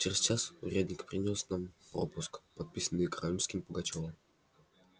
через час урядник принёс нам пропуск подписанный каракульками пугачёва